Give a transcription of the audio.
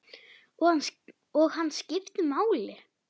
Og hann skipti máli.